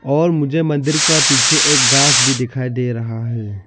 और मुझे मंदिर का पीछे एक गास भी दिखाई दे रहा है।